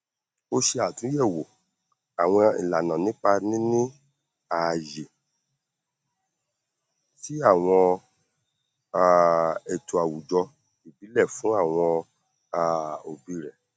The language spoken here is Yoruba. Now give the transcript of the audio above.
ó ṣe àtúyẹwò àwọn ìlànà nípa níní ààyè sí àwọn um ètò àwùjọ ìbílẹ fún àwọn um òbí rẹ